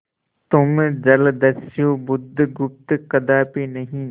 तुम जलदस्यु बुधगुप्त कदापि नहीं